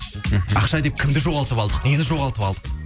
мхм ақша деп кімді жоғалтып алдық нені жоғалтып алдық